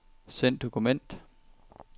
Send dokument.